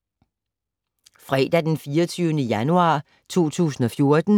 Fredag d. 24. januar 2014